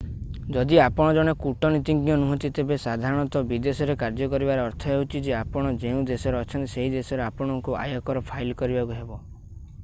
ଯଦି ଆପଣ ଜଣେ କୂଟନୀତିଜ୍ଞ ନୁହଁନ୍ତି ତେବେ ସାଧାରଣତଃ ବିଦେଶରେ କାର୍ଯ୍ୟ କରିବାର ଅର୍ଥ ହେଉଛି ଯେ ଆପଣ ଯେଉଁ ଦେଶରେ ଅଛନ୍ତି ସେହି ଦେଶରେ ଆପଣଙ୍କୁ ଆୟକର ଫାଇଲ୍ କରିବାକୁ ହେବ